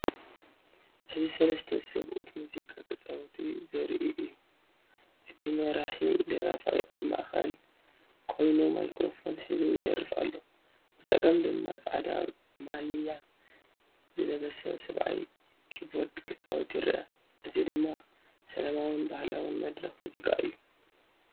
እዚ ሰለስተ ሰብኡት ሙዚቃ ክጻወቱ ዘርኢ እዩ። እቲ መሪሕ ደራፋይ ኣብ ማእከል ኮይኑ ማይክሮፎን ሒዙ ይደርፍ ኣሎ። ብጸጋም ድማ ጻዕዳ ማልያ ዝለበሰ ሰብኣይ ኪቦርድ ክጻወት ይርአ። እዚ ድማ ሰላማውን ባህላውን መድረኽ ሙዚቃ እዩ።